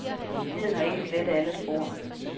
Tiden har ikke slettet alle spor.